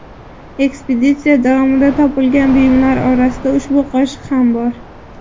Ekspeditsiya davomida topilgan buyumlar orasida ushbu qoshiq ham bor.